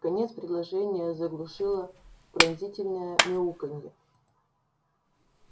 конец предложения заглушило пронзительное мяуканье